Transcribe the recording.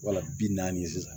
Wala bi naani sisan